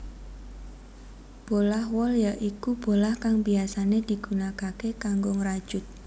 Bolah wol ya iku bolah kang biyasané digunakaké kanggo ngrajut